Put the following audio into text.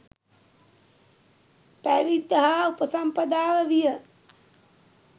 පැවිද්ද හා උපසම්පදාව විය.